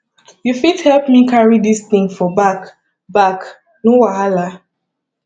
you fit help me carry dis thing for back back no wahala